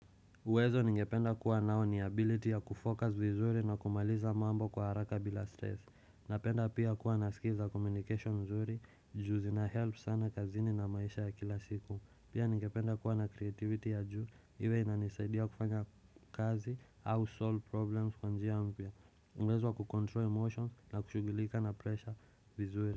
Uwezo ningependa kuwa nao ni ability ya kufocus vizuri na kumaliza mambo kwa haraka bila stress. Napenda pia kuwa naskiza communication mzuri, juzi na help sana kazini na maisha ya kila siku. Pia ningependa kuwa na creativity ya juu, iwe inanisaidia kufanya kazi au solve problems kwa njia mpya. Uwezo wa kucontrol emotions na kushugilika na pressure vizuri.